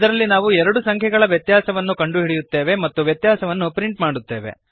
ಇದರಲ್ಲಿ ನಾವು ಎರಡು ಸಂಖ್ಯೆಗಳ ವ್ಯತ್ಯಾಸವನ್ನು ಕಂಡುಹಿಡಿಯುತ್ತೇವೆ ಮತ್ತು ವ್ಯತ್ಯಾಸವನ್ನು ಪ್ರಿಂಟ್ ಮಾಡುತ್ತೇವೆ